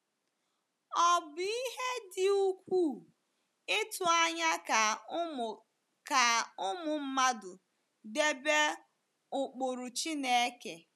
Ọ̀ bụ ihe dị ukwuu ịtụ anya ka ụmụ ka ụmụ mmadụ debe ụkpụrụ Chineke?